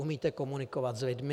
Umíte komunikovat s lidmi?